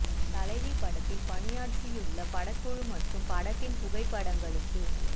தலைவி படத்தின் பணியாற்றியுள்ள படக்குழு மற்றும் படத்தின் புகைப்படங்களுக்கு